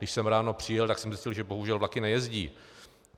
Když jsem ráno přijel, tak jsem zjistil, že bohužel vlaky nejezdí.